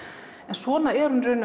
svona er hún í